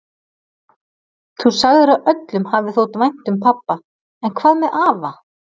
Þú sagðir að öllum hafi þótt vænt um pabba, en hvað með afa?